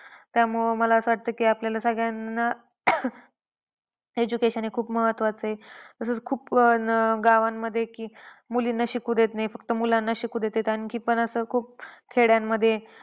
त्यामुळे मला असं वाटतं की आपल्याला सगळ्यांना education हे खूप महत्वाचं आहे. तसंच खूप अह गावांमध्ये की मुलींना शिकू देत नाहीत फक्त मुलांना शिकू देतात. आणखी पण असं खूप खेड्यामध्ये,